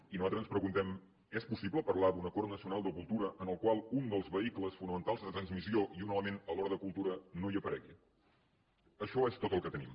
i nosaltres ens preguntem és possible parlar d’un acord nacional de cultura en el qual un dels vehicles fonamentals de transmissió i un element a l’hora de cultura no hi aparegui això és tot el que tenim